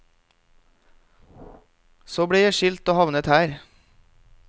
Så ble jeg skilt og havnet her.